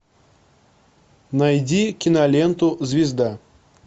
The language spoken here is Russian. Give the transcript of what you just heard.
найди киноленту звезда